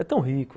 É tão rico...